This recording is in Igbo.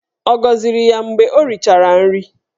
Ọ gọziri ya mgbe ọ richara nri?